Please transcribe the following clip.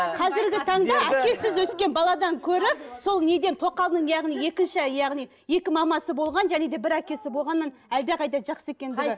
қазіргі таңда әкесіз өскен баладан гөрі сол неден тоқалдың яғни екінші яғни екі мамасы болған және де бір әкесі болғаны әлдеқайда жақсы екендігі